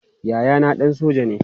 Yayana ɗan soja ne.